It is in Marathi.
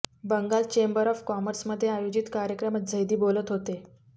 बंगाल चेंबर ऑफ कॉमर्समध्ये आयोजित कार्यक्रमात झैदी बोलत होते